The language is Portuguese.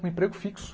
Um emprego fixo.